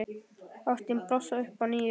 Ástin blossar upp að nýju.